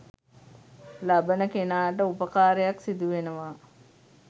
ලබන කෙනාට උපකාරයක් සිදුවෙනවා.